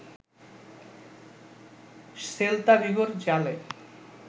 Celta ভিগোর জালে